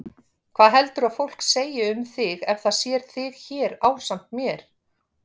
Hvað heldurðu að fólk segi um þig ef það sér þig hér ásamt mér?